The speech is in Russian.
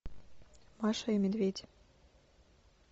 маша и медведь